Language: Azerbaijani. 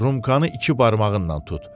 Rumkanı iki barmağınla tut.